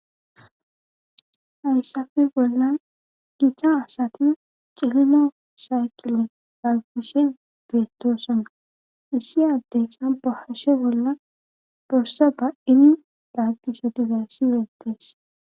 Haysape bollan giita asati cililonni shayqile daggishe beettosanna issi addeyssa bahashe bollan borsa baini daggishe difeysi weettees